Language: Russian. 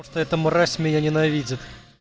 просто эта мразь меня ненавидит